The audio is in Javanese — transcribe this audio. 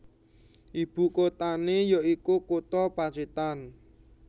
Ibu kotane ya iku kutha Pacitan